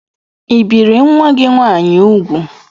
ị bìri nwa gị nwaanyị úgwù?